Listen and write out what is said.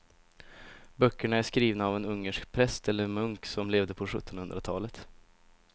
Böckerna är skrivna av en ungersk präst eller munk som levde på sjuttonhundratalet.